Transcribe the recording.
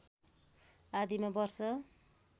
आदिमा वर्ष